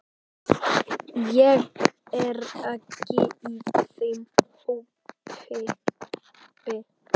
Ég er ekki í þeim hópi.